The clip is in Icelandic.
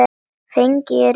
Feginn er ekki rétta orðið.